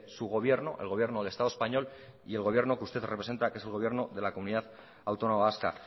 su gobierno el gobierno del estado español y el gobierno que usted representa que es el gobierno de la comunidad autónoma vasca